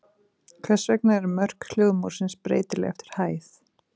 Hvers vegna eru mörk hljóðmúrsins breytileg eftir hæð?